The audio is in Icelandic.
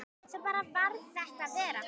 Svo bara varð þetta verra.